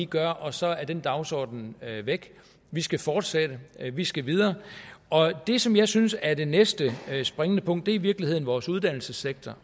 gør og så er den dagsorden væk vi skal fortsætte vi skal videre og det som jeg synes er det næste springende punkt er i virkeligheden vores uddannelsessektor